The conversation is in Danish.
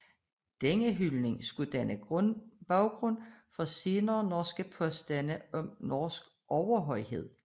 Denne hyldning skulle danne baggrund for senere norske påstande om norsk overhøjhed